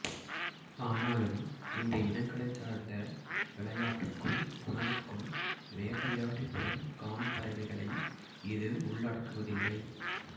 ஆனாலும் இந்த இனங்களைச் சார்ந்த விளயாட்டுக்கும் உணவுக்கும் வேட்டையாடிப் பெறும் கான்பறவைகளை இது உள்ளடக்குவதில்லை